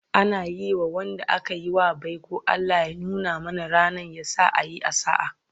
Ana zuwa Yi ma Wanda akayi wa baiko"Allah ya nuna mana rannan, yasa a Yi a sa'a"